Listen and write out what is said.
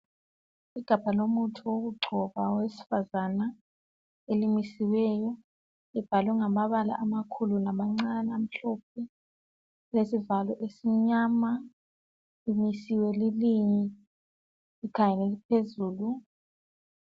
Igabha lomuthi wokugcoba owesifazana elimisiweyo libhalwe ngamabala ngamabala amakhulu lamancane amhlophe lilesivalo esimnyama limisiwe lilinye likhangele phezulu